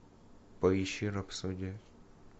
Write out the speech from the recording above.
поищи рапсодия